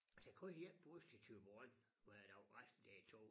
Der kører én bus til Thyborøn hver dag resten det tog